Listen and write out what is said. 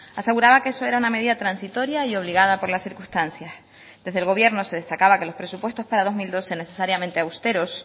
aseguraba que eso era una medida transitoria y obligada por las circunstancias desde el gobierno se destacaba que los presupuestos para dos mil doce necesariamente austeros